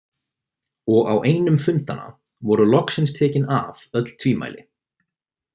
Og á einum fundanna voru loksins tekin af öll tvímæli.